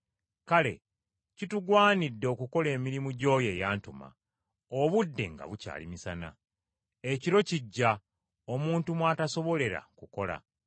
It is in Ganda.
Kale kitugwanidde okukola emirimu gy’oyo eyantuma, obudde nga bukyali misana. Ekiro kijja omuntu mw’atasobolera kukola.